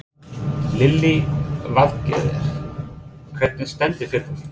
Lillý Valgerður: Hvernig stendur fyrirtækið?